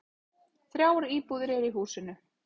Þrjár íbúðir eru í húsinu.